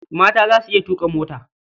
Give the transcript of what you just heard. Mata za su iya tuƙa mota.